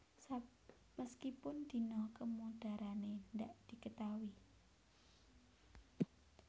Meskipun dino kemodarane ndak diketaui